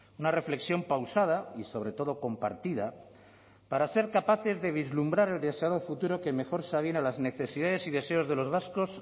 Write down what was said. una reflexión pausada y sobre todo compartida para ser capaces de vislumbrar el deseado futuro que mejor se aviene a las necesidades y deseos de los vascos